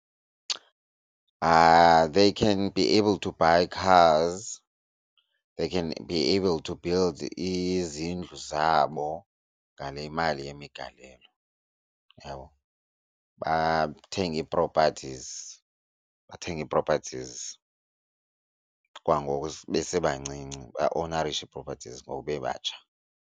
They can be able to buy cars, they can be able to build izindlu zabo ngale mali yemigalelo, uyabo? Bathenge ii-properties bathenge ii-properties kwangoku besebancinci, baowunarishe ii-properties ngoku bebatsha.